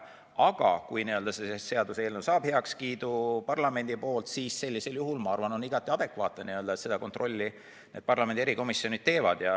Aga kui see seaduseelnõu saab parlamendi heakskiidu, siis on minu arvates igati adekvaatne, et seda kontrolli parlamendi erikomisjonid teevad.